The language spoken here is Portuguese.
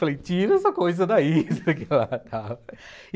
Falei, tira essa coisa daí.